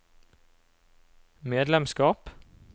medlemskap